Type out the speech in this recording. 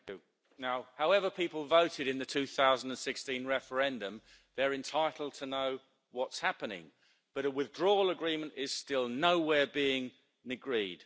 Madam President, however people voted in the 2016 referendum, they're entitled to know what's happening, but a withdrawal agreement is still nowhere near being agreed.